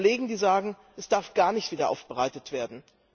Es gibt Kollegen, die sagen, es darf gar nicht wiederaufbereitet werden.